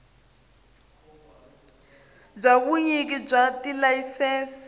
bya vunyiki bya tilayisense byi